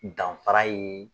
Danfara ye